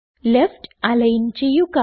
left align ചെയ്യുക